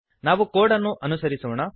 ನಾವು ಕೋಡ್ ಅನ್ನು ಅನುಸರಿಸೋಣ